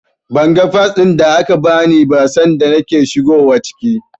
Ban ga Fas ɗin da aka bani ba sanda nake shigowa ciki.